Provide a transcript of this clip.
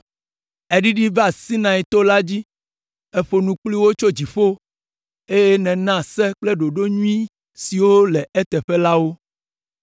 “Èɖiɖi va Sinai to la dzi, èƒo nu kpli wo tso dziƒo, eye nèna Se kple ɖoɖo nyui siwo le eteƒe la wo.